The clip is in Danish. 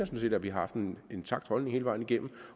set at vi har haft en intakt holdning hele vejen igennem